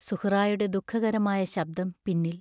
സുഹ്റായുടെ ദുഃഖകരമായ ശബ്ദം പിന്നിൽ.